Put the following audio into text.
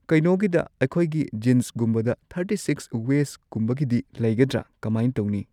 ꯀꯩꯅꯣꯒꯤꯗ ꯑꯩꯈꯣꯏꯒꯤ ꯖꯤꯟꯁꯒꯨꯝꯕꯗ ꯊꯥꯔꯇꯤ ꯁꯤꯛꯁ ꯋꯦꯁꯀꯨꯝꯕꯒꯤꯗꯤ ꯂꯩꯒꯗ꯭ꯔ ꯀꯃꯥꯏ ꯇꯧꯅꯤ